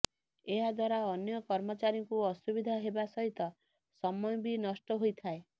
ଏହା ଦ୍ୱାରା ଅନ୍ୟ କର୍ମଚାରୀଙ୍କୁ ଅସୁବିଧା ହେବା ସହିତ ସମୟ ବି ନଷ୍ଟ ହୋଇଥାଏ